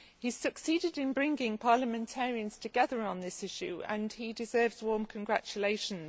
He has succeeded in bringing parliamentarians together on this issue and he deserves warm congratulations.